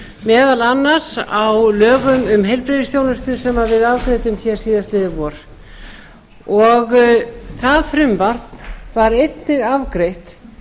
meðal annars á lögum um heilbrigðisþjónustu sem við afgreiddum hér síðastliðið vor og það frumvarp var einnig afgreitt